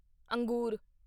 ਅੰਗੂਰ